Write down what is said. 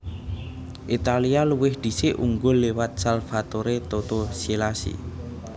Italia luwih dhisik unggul liwat Salvatore Toto Schillaci